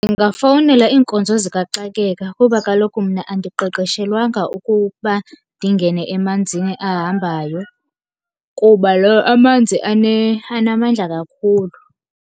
Ndingafowunela iinkonzo zikaxakeka, kuba kaloku mna andiqeqeshelwanga ukuba ndingene emanzini ahambayo. Kuba amanzi anamandla kakhulu.